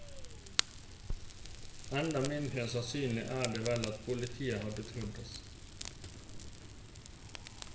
Enda mindre sannsynlig er det vel at politiet hadde trodd oss.